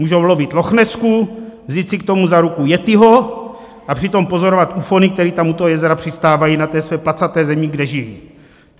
Můžou lovit lochnesku, vzít si k tomu za ruku yettiho a přitom pozorovat ufony, kteří tam u toho jezera přistávají na té své placaté zemi, kde žijí.